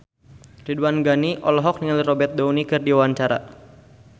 Ridwan Ghani olohok ningali Robert Downey keur diwawancara